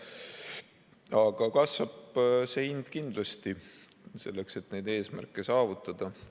Aga kasvab see hind kindlasti, selleks et neid eesmärke saavutada.